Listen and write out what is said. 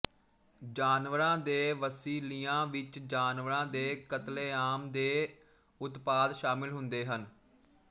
ਜਾਨਵਰਾਂ ਦੇ ਵਸੀਲਿਆਂ ਵਿੱਚ ਜਾਨਵਰਾਂ ਦੇ ਕਤਲੇਆਮ ਦੇ ਉਤਪਾਦ ਸ਼ਾਮਲ ਹੁੰਦੇ ਹਨ